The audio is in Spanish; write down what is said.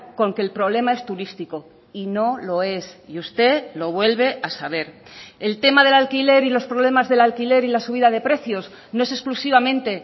con que el problema es turístico y no lo es y usted lo vuelve a saber el tema del alquiler y los problemas del alquiler y la subida de precios no es exclusivamente